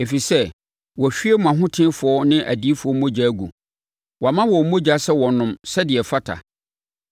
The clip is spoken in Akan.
ɛfiri sɛ wahwie mo ahotefoɔ ne adiyifoɔ mogya agu, woama wɔn mogya sɛ wɔnnom, sɛdeɛ ɛfata wɔn.”